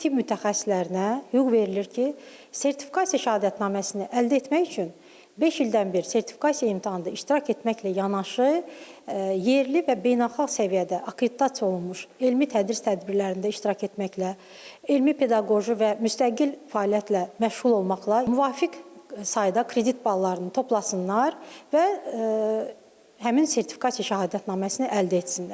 Tibb mütəxəssislərinə hüquq verilir ki, sertifikasiya şəhadətnaməsini əldə etmək üçün beş ildən bir sertifikasiya imtahanında iştirak etməklə yanaşı, yerli və beynəlxalq səviyyədə akkreditasiya olunmuş elmi-tədris tədbirlərində iştirak etməklə, elmi-pedaqoji və müstəqil fəaliyyətlə məşğul olmaqla müvafiq sayda kredit ballarını toplasınlar və həmin sertifikasiya şəhadətnaməsini əldə etsinlər.